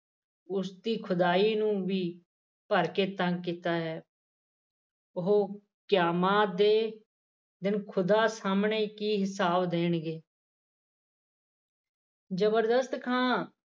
ਉਸ ਦੀ ਖਦਾਈ ਨੂੰ ਵੀ ਭਰ ਕੇ ਤੰਗ ਕੀਤਾ ਹੈ ਉਹ ਕਯਾਮਾ ਦੇ ਖੁਦਾ ਸਾਹਮਣੇ ਕੀ ਹਿਸਾਬ ਦੇਣਗੇ ਜਬਰਦਸਤ ਖਾਂ